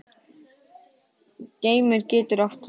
Geimur getur átt við